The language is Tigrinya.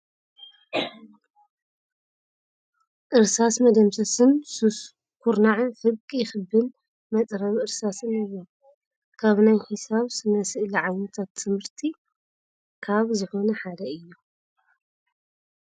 እርሳስ መደምሰሰን ሱስ ከርናዕን ፍርቂ ክብን መፅረቢ እርሳስን እዮም። ካብ ናይ ሒሳብ ስነ ስእሊ ዓይነታት ት/ቲ ካብ ዝኮነ ሓደ እዮም